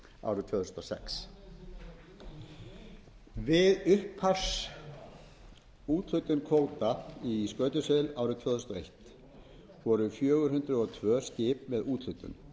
árið tvö þúsund og sex við upphafsúthlutun kvóta í skötusel árið tvö þúsund og eitt voru fjögur hundruð og tvö skip með úthlutun